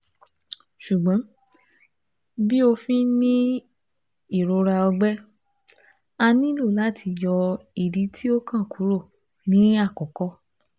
Ṣugbọn bi ofin ni irora ọgbẹ, a nilo lati yọ idi ti okan kuro ni akọkọ